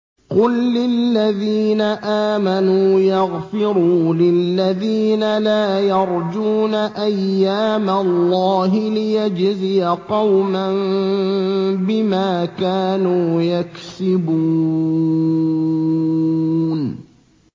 قُل لِّلَّذِينَ آمَنُوا يَغْفِرُوا لِلَّذِينَ لَا يَرْجُونَ أَيَّامَ اللَّهِ لِيَجْزِيَ قَوْمًا بِمَا كَانُوا يَكْسِبُونَ